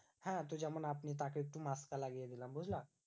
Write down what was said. হ্যাঁ তো যেমন আপনি তাকে একটু লাগিয়ে দিলাম, বুঝলা?